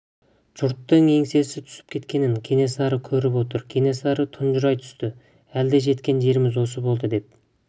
жұрттың еңсесі түсіп кеткенін кенесары көріп отыр кенесары тұнжырай түсті әлде жеткен жеріміз осы болды деп